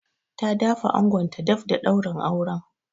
Ta da fa angonta daf da daurin auren.